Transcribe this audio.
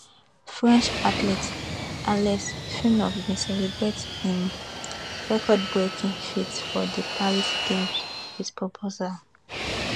french athlete alice finot bin celebrate im recordbreaking feat for di paris games wit proposal